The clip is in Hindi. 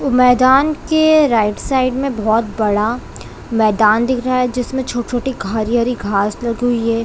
मैदान के राइट साइड बहुत बड़ा मैदान दिख रहा जिसमे छोटे- छोटे हरी-हरी घास लगी हुई है।